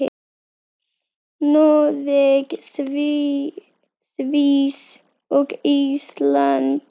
Noreg, Sviss og Ísland.